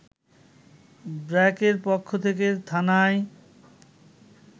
ব্র্যাকের পক্ষ থেকে থানায়